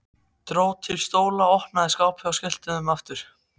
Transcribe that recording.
Dró til stóla, opnaði skápa og skellti þeim aftur.